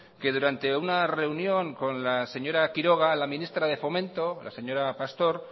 que durante una reunión con la señora quiroga la ministra de fomento la señora pastor